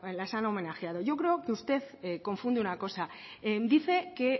las han homenajeado yo creo que usted confunde una cosa dice que